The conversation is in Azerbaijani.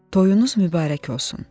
Toyunuz mübarək olsun.